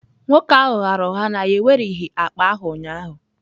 Nwoke ahụ ghaara ụgha na ya ewereghị akpa ahụ ụnyaahụ.